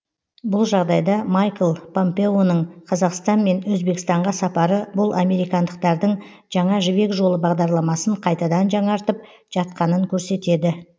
бұл жағдайда майкл помпеоның қазақстан мен өзбекстанға сапары бұл американдықтардың жаңа жібек жолы бағдарламасын қайтадан жаңартып жатқанын көрсетеді